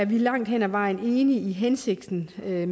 vi langt hen ad vejen enig i hensigten med